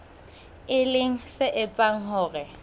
e leng se etsang hore